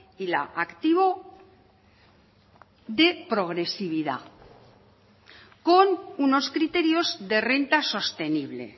y la activó de progresividad con unos criterios de renta sostenible